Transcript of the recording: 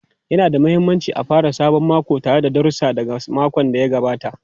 Yana da mahimmanci a fara sabon mako tare da darussa daga makon da ya gabata.